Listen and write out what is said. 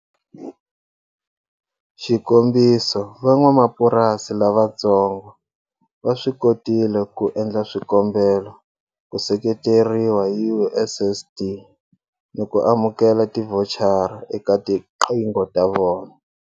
Xikombiso, Van'wamapurasi lavatsongo va swi kotile ku endla swikombelo ku seketeriwa hi USSD ni ku amukela tivhochara eka tiqingho ta vona.